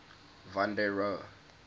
van der rohe